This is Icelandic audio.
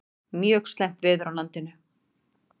Mjög slæmt veður á landinu